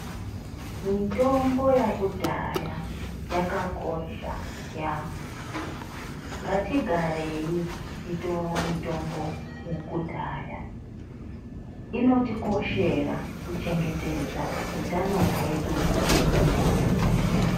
Mitombo yakudhaya yakakosha yamho, ngatigareyi tichitora mitombo yekudhaya, inotikoshera kuchengetedza utano hwedu mumwiri.